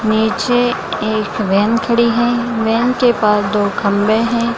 नीचे एक वैन खड़ी है वैन के पास दो खम्बे हैं ।